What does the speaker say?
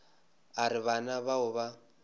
a re bana bao ba